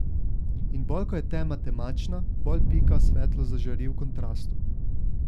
In bolj ko je tema temačna, bolj pika svetlo zažari v kontrastu.